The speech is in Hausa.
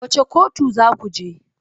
Wace kotu za ku je?